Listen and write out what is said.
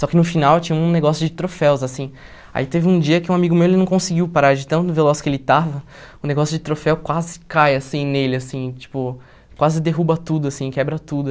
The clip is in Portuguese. Só que no final tinha um negócio de troféus, assim, aí teve um dia que um amigo meu ele não conseguiu parar, de tão veloz que ele estava, o negócio de troféu quase cai assim nele, assim, tipo, quase derruba tudo, assim, quebra tudo.